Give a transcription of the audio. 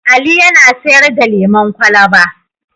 Ali yana sayar da lemon kwalaba.